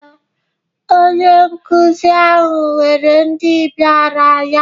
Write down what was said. Ee, onye nkụzi ahụ weere ndị bịara ya.